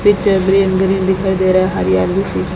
पीछे green -green दिखाई दे रह है हरियाली सी--